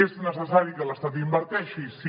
és necessari que l’estat hi inverteixi sí